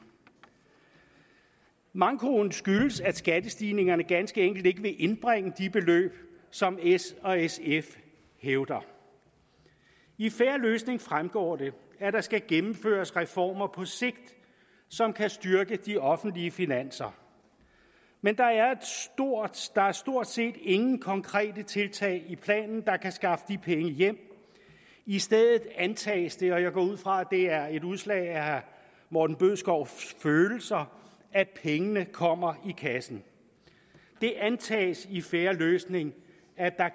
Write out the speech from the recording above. mankoen skyldes at skattestigningerne ganske enkelt ikke vil indbringe de beløb som s og sf hævder i en fair løsning fremgår det at der skal gennemføres reformer på sigt som kan styrke de offentlige finanser men der er stort set ingen konkrete tiltag i planen der kan skaffe de penge hjem i stedet antages det og jeg går ud fra at det er et udslag af herre morten bødskovs følelser at pengene kommer i kassen det antages i en fair løsning